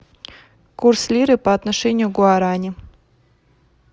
курс лиры по отношению к гуарани